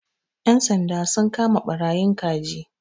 Ƴan sanda sun kama ɓarayin kaji.